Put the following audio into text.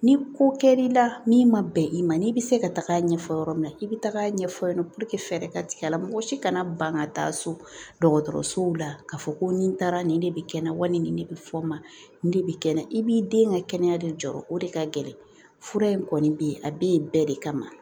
Ni ko kɛr'i la min ma bɛn i ma n'i bɛ se ka taga a ɲɛfɔ yɔrɔ min na i bɛ taga a ɲɛfɔ fɛɛrɛ ka tigɛ a la mɔgɔ si kana ban ka taa so dɔgɔtɔrɔsow la k'a fɔ ko nin taara nin de bɛ kɛnɛma wa ni nin ne bɛ fɔ n ma nin de bɛ kɛ n na i b'i den ka kɛnɛya de jɔɔrɔ o de ka gɛlɛ fura in kɔni bɛ yen a bɛ yen bɛɛ de kama